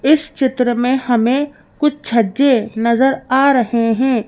इस चित्र में हमें कुछ छज्जे नजर आ रहे हैं।